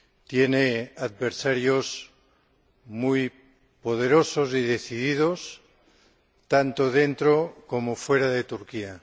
Tiene adversarios muy poderosos y decididos, tanto dentro como fuera de Turquía.